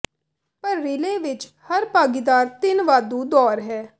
ਪਰ ਰੀਲੇਅ ਵਿੱਚ ਹਰ ਭਾਗੀਦਾਰ ਤਿੰਨ ਵਾਧੂ ਦੌਰ ਹੈ